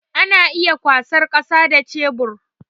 Ana iya kwasar kasa da shebur